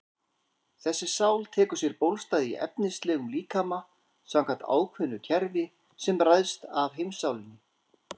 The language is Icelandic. Þessi sál tekur sér bólstað í efnislegum líkama samkvæmt ákveðnu kerfi sem ræðst af heimssálinni.